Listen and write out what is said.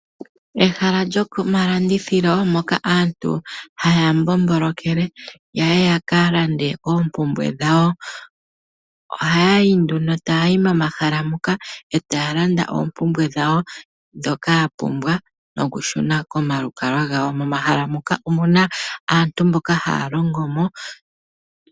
Ehala lyomalandithilo moka aantu haya mbombolokele ya ye yakalande oompumbwe dhawo . Ohaya yi nduno taya yi momahala moka etaya landa oompumbwe dhawo ndhoka yapumbwa noku shuna komalukalwa gawo. Mohala moka omuna aantu mboka haya longo mo.